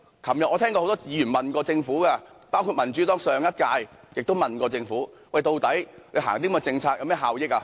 昨天我聽到很多議員詢問政府，包括民主黨在上屆議會亦問過政府，推行這些政策究竟有何效益？